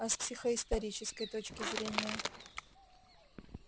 а с психоисторической точки зрения